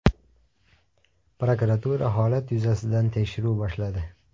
Prokuratura holat yuzasidan tekshiruv boshladi.